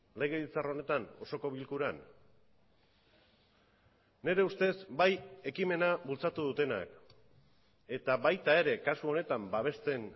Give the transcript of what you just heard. legebiltzar honetan osoko bilkuran nire ustez bai ekimena bultzatu dutenak eta baita ere kasu honetan babesten